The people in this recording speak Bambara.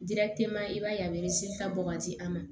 i b'a ye a bɛ bɔ ka di an ma